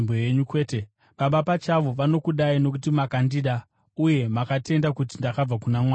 Kwete, Baba pachavo vanokudai nokuti makandida, uye makatenda kuti ndakabva kuna Mwari.